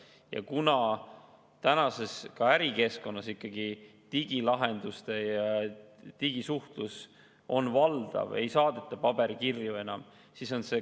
Ja kuna tänapäeva ärikeskkonnas on ikkagi valdavad digilahendused ja digisuhtlus, siis ei saadeta enam paberkirju.